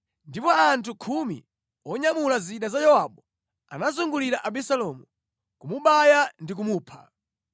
Ndipo anthu khumi onyamula zida za Yowabu anazungulira Abisalomu, kumubaya ndi kumupha.